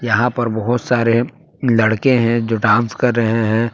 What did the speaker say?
यहां पर बहुत सारे लड़के है जो डांस कर रहे हैं।